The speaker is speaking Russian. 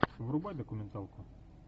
врубай документалку